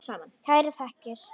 Kærar þakkir